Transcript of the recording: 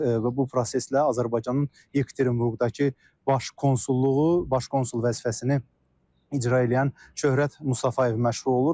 Və bu proseslə Azərbaycanın Yekaterinburqdakı baş konsulluğu, baş konsul vəzifəsini icra eləyən Şöhrət Mustafayev məşğul olur.